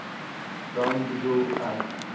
dan bedoel ek